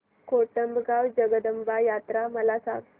कोटमगाव जगदंबा यात्रा मला सांग